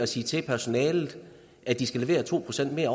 siger til personalet at de skal levere to procent